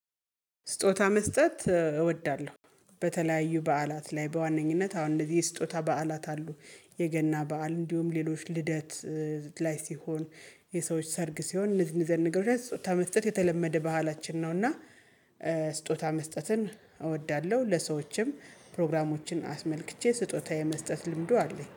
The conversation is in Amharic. ስጦታ መስጠት እወዳለሁ በተለያዩ በዓላት ላይ በዋነኝነት አሁን እንደዚህ ስጦታ በዓላት አሉ የገና በዓል እንዲሁም ሌሎች ልደት ላይ ሲሆን የሰዎች ሰርግ ሲሆን እነዚህን እዚህ አይነት ነገሮች ላይ ስጦታ መስጠት የተለመደ ባህላችን ነውና። ስጦታ መስጠትን እወዳለሁ ለሰዎችም ፕሮግራሞችን አስመልክቼ ስጦታዬ መስጠት ልምዱ አለኝ